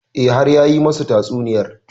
E, har ya yi masu tatsuniyar.